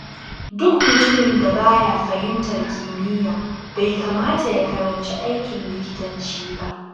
Duk mutumin da ba ya fahimtar kimiyya, bai kamata ya karanci aikin likitanci ba.